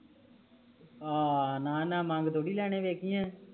ਆ ਨਾ ਨਾ ਮੰਗ ਥੋੜੀ ਲੈਣੇ ਵੇਖੀ ਆ